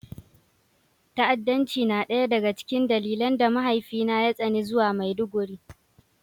Ta'addanci na ɗaya daga cikin dalilan da mahaifina ya tsani zuwa Maiduguri